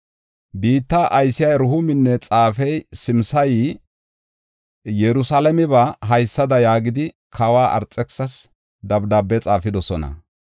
Biitta aysiya Rehuuminne xaafey Simsayi Yerusalaameba haysada yaagidi, kawa Arxekisisas dabdaabe xaafidosona;